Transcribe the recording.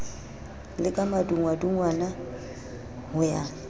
le ka madungwadungwana ho ya